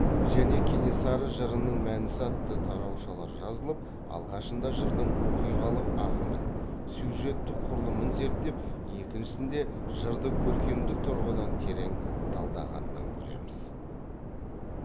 және кенесары жырының мәнісі атты тараушалар жазып алғашында жырдың оқиғалық ағымын сюжеттік құрылымын зерттеп екіншісінде жырды көркемдік тұрғыдан терең талдағанынан көреміз